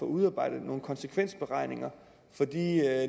udarbejdet nogen konsekvensberegninger for de